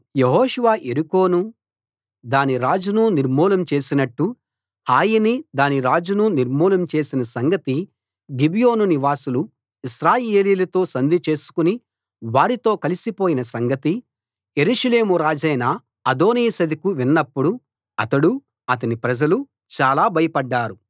యెహోషువ యెరికోనూ దాని రాజునూ నిర్మూలం చేసినట్టు హాయినీ దాని రాజునూ నిర్మూలం చేసిన సంగతీ గిబియోను నివాసులు ఇశ్రాయేలీయులతో సంధి చేసుకుని వారితో కలిసిపోయిన సంగతీ యెరూషలేం రాజైన అదోనీసెదెకు విన్నప్పుడు అతడూ అతని ప్రజలూ చాలా భయపడ్డారు